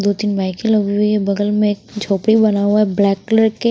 दो तीन बाइके लगी हुई है बगल में एक झोपड़ी बना हुआ है ब्लैक कलर के--